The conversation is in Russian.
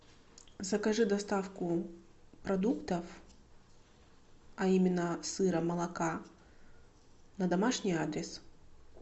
закажи доставку продуктов а именно сыра молока на домашний адрес